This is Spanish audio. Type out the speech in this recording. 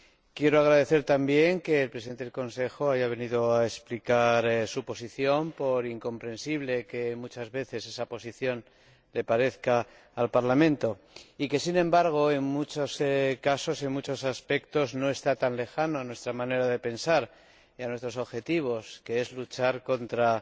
Quiero agradecer también que el Presidente en ejercicio del Consejo haya venido a explicar su posición, por incomprensible que muchas veces esa posición le parezca al Parlamento, pese a que, sin embargo, en muchos casos y en muchos aspectos, no está tan lejana de nuestra manera de pensar y de nuestros objetivos, que son luchar contra